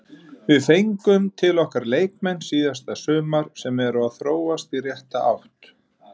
Við fengum til okkar leikmenn síðasta sumar sem eru að þróast í rétta átt.